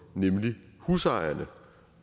nemlig husejerne